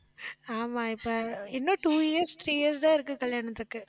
ஆமா, இப்ப இன்னும் two years three years தான் இருக்கு கல்யாணத்துக்கு